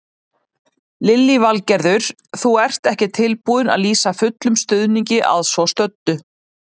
Lillý Valgerður: Þú ert ekki tilbúinn að lýsa fullum stuðningi að svo stöddu?